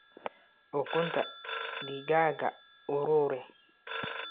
Ukunta digaaga ururi.